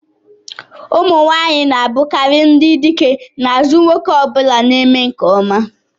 ụmụ nwanyị na-abụkarị ndị dike n'azụ nwoke ọ bụla na-eme nke ọma